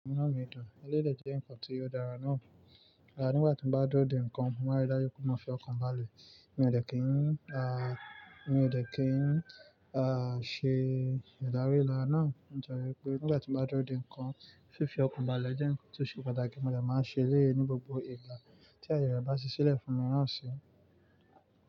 Inú mi dùn, eleyii de jẹ nǹkan tí o dára náà. Nígbà tí mo bá n dúró de nǹkan, mo máa rí dájú pé mo fi ọkàn balẹ̀. Mi ò dẹ kí n ṣe ìdárí ìlà náà. O jẹ wípé nígbà tí mo bá dúró de nǹkan, fífi ọkàn balẹ̀ jẹ́ nǹkan tí ó ṣe pàtàkì, mo dẹ máa n ṣe eleyii ní gbogbo ìgbà tí aye rẹ ba si silẹ fún mi naa si.